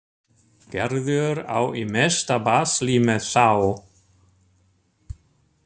Gerður á í mesta basli með þá.